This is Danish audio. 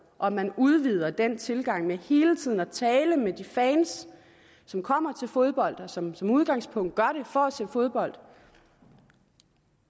og at man udvider den tilgang ved hele tiden at tale med de fans som kommer til fodbold og som som udgangspunkt gør det for at se fodbold